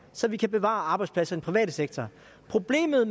så vi kan bevare arbejdspladserne private sektor problemet